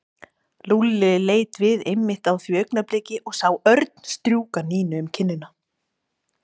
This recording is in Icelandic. Lúlli leit við einmitt á því augnabliki og sá Örn strjúka Nínu um kinnina.